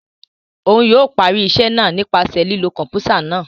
O yóò parí iṣẹ náà nípasẹ̀ lilo kọnputa náà